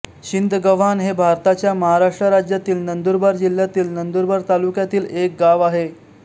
शिंदगव्हाण हे भारताच्या महाराष्ट्र राज्यातील नंदुरबार जिल्ह्यातील नंदुरबार तालुक्यातील एक गाव आहे